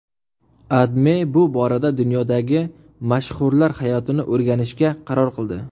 AdMe bu borada dunyodagi mashhurlar hayotini o‘rganishga qaror qildi.